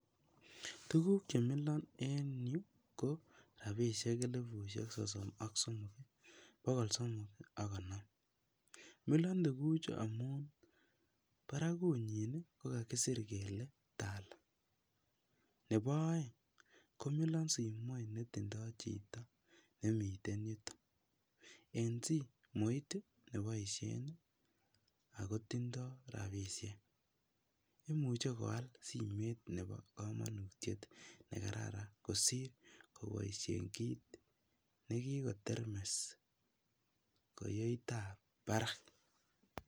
Tukuk chemilon en yuu ko rabishek elibushek sosom ak somok bokol somok ak konom, milon tukuchu amun barakunyin kokasir kele Tala, nebo oeng komilon simoit netindo chito nemiten yuton, en simoit ii neboishen ak kotindo rabishek imuche koal simoit nebokomonutiet nekararan kosir koboishen kiit nekikotermes kiyoitab barak.